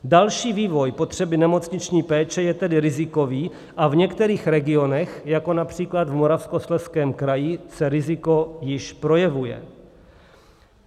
Další vývoj potřeby nemocniční péče je tedy rizikový a v některých regionech, jako například v Moravskoslezském kraji, se riziko již projevuje.